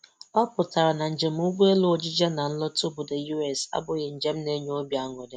Ọ pụtara na njem ụgbọelu ojije na nlọta obodo US abụghị njem na-enye obi aṅụ.